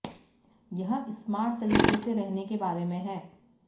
यह स्मार्ट तरीके से रहने के बारे में है